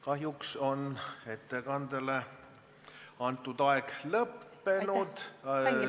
Kahjuks on ettekande jaoks antud aeg lõppenud.